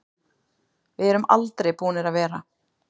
Við erum aldrei búnir að vera.